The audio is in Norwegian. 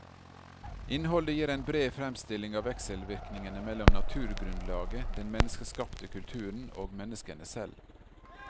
Innholdet gir en bred fremstilling av vekselvirkningene mellom naturgrunnlaget, den menneskeskapte kulturen og menneskene selv.